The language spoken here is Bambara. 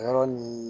Yɔrɔ nin